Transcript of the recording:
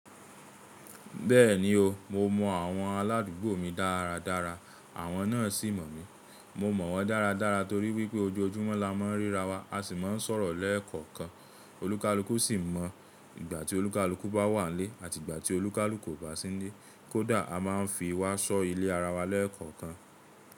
Bẹ́ẹ̀ni o, mo mọ àwọn aládùúgbò mi dáradára àwọn náà sì mọ̀ mí. Mo mọ̀ wọ́n dáradára torí wípé ojoojúmọ́ la máa ń ríra wa, a sì máa ń sọ̀rọ̀ lẹ́ẹ̀kọ̀kan. Olúkalúkù sì mọ̀, ìgbà tí olúkalúkù bá wà lé, àti ìgbà tí olúkalúkù ò bá sí nílé. Kódà a máa ń fi wá ṣọ́ ilé ara wa lẹ́ẹ̀kọ̀kan.